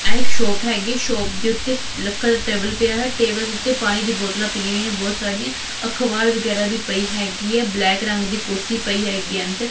ਇਹ ਇੱਕ ਸ਼ੋਪ ਹੈਗੀ ਹੈ ਸੋਪ ਦੇ ਉੱਤੇ ਲੱਕੜ ਦਾ ਟੇਬਲ ਪਿਆ ਹੋਇਆ ਹੈ ਟੇਬਲ ਦੇ ਉੱਤੇ ਪਾਣੀ ਦੀ ਬੋਤਲਾਂ ਪਈਆਂ ਹੋਈਆਂ ਨੇ ਬਹੁਤ ਸਾਰੀਆਂ ਅਖਬਾਰ ਵਗੈਰਾ ਵੀ ਪਈ ਹੈਗੀ ਆ ਬਲੈਕ ਰੰਗ ਦੀ ਕੁਰਸੀ ਪਈ ਹੈਗੀ ਅੰਦਰ।